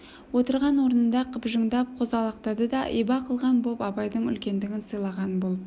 отырған орнында қыбжыңдап қозғалақтады да иба қылған боп абайдың үлкендігін сыйлаған болып